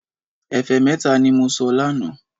Ẹ̀fẹ́ mẹ́ta ní mo sọ lánàá